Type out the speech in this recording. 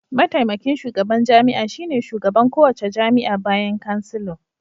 Mataimakin shugaban jami'a shine shugaban kowace jami'a bayan Chancellor.